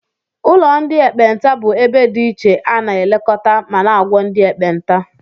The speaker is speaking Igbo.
Ụlọ ndị ekpenta bụ ebe dị ichè ana elekota ma na -agwo ndị ekpenta.